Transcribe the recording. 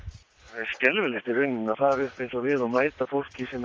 það er skelfilegt í rauninni að fara upp eins og við og mæta fólki